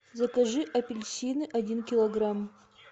закажи апельсины один килограмм